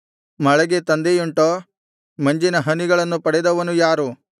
ಮಳೆಗೆ ತಂದೆಯುಂಟೋ ಮಂಜಿನ ಹನಿಗಳನ್ನು ಪಡೆದವನು ಯಾರು